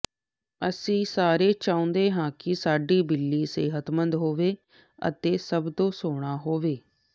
ਅਸੀਂ ਸਾਰੇ ਚਾਹੁੰਦੇ ਹਾਂ ਕਿ ਸਾਡੀ ਬਿੱਲੀ ਸਿਹਤਮੰਦ ਹੋਵੇ ਅਤੇ ਸਭ ਤੋਂ ਸੋਹਣਾ ਹੋਵੇ